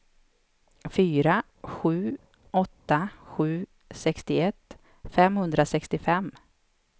fyra sju åtta sju sextioett femhundrasextiofem